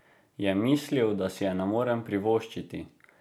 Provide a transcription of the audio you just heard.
Je mislil, da si je ne morem privoščiti?